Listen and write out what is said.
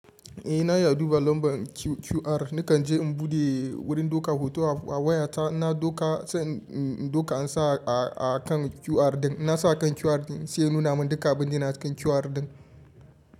Eh na iya duba lambar QR, nakan je in buɗe wurin doka hoto a wayata, inna doka, sai in doka in sa a kan QR ɗin, inna sa kan QR ɗin sai ya nuna min duka abin da yana cikin QR ɗin.